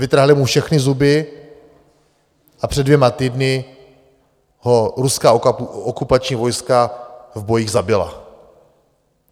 Vytrhali mu všechny zuby a před dvěma týdny ho ruská okupační vojska v bojích zabila.